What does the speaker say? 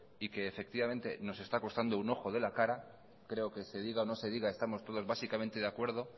y que efectivamente nos está costando un ojo de la cara creo que se diga o no se diga estamos todos básicamente de acuerdo